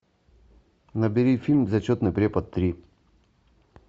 набери фильм зачетный препод три